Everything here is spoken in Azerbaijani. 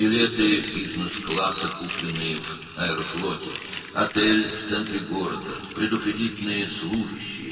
Aeroflotdan alınan biznes-klass biletləri, şəhərin mərkəzindəki otel, diqqətli qulluqçular.